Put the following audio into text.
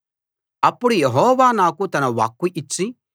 అప్పుడు యెహోవా నాకు తన వాక్కు ఇచ్చి